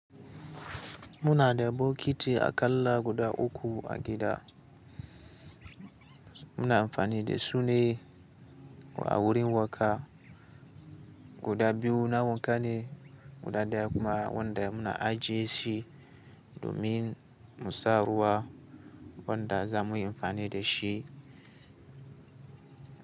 Muna da bokiti aƙalla guda uku a gida. Muna amfani da su ne, wa wurin wanka. Guda biyu na wanka ne, guda daya kuma wanda muna ajiye shi domin mu sa ruwa wanda za mu yi amfani da shi.